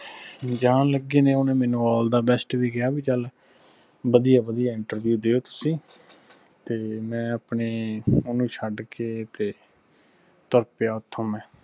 ਜਾਣ ਲੱਗੀ ਨੇ ਓਹਨੇ ਮੈਨੂੰ all dad best ਵੀ ਕਿਹਾ ਬਈ ਚਲ ਵਧਿਆ ਵਧਿਆ ਦੀਓ ਤੁਸੀਂ ਤੇ ਮੈਂ ਆਪਣੀ ਓਹਨੂੰ ਛੱਡ ਕੇ ਤੇ ਤੁਰ ਪਿਆ ਓਥੋਂ ਮੈਂ